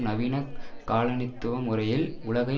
நவீன காலனித்துவ முறையில் உலகை